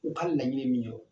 U ka laɲini min ye wo